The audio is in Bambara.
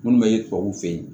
Minnu bɛ tubabuw fɛ yen